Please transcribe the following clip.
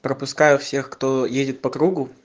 пропускаю всех кто едет по кругу